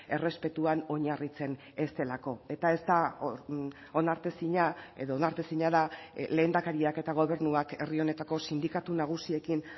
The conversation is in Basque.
errespetuan oinarritzen ez delako eta ez da onartezina edo onartezina da lehendakariak eta gobernuak herri honetako sindikatu nagusiekin